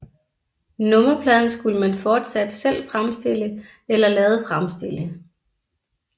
Nummerpladen skulle man fortsat selv fremstille eller lade fremstille